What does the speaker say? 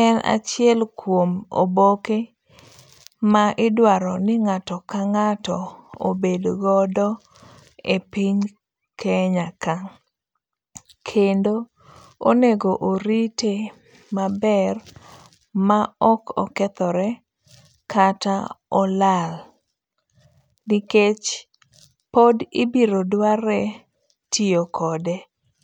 en achiel kuom oboke ma idwaro ni ng'ato ka ng'ato obed godo e piny Kenya ka, kendo onego orite maber ma ok okethore kata olal nikech pod ibiro dware tiyo kode